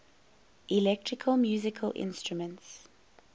electronic musical instruments